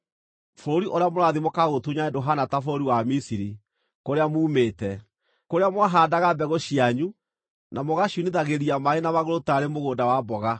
Bũrũri ũrĩa mũrathiĩ mũkaũtunyane ndũhaana ta bũrũri wa Misiri, kũrĩa muumĩte, kũrĩa mwahaandaga mbegũ cianyu na mũgaciunithagĩria maaĩ na magũrũ taarĩ mũgũnda wa mboga.